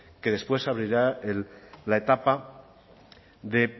que después se abrirá la etapa de